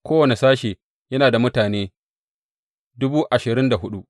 Kowane sashe yana da mutane dubu ashirin da hudu.